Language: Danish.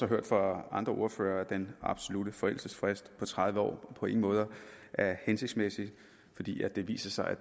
hørt fra andre ordførere at den absolutte forældelsesfrist på tredive år på ingen måde er hensigtsmæssig fordi det viser sig at